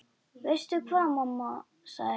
Veistu hvað, mamma, sagði Heiða.